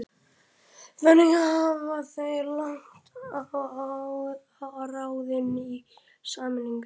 Þannig hafa þeir lagt á ráðin í sameiningu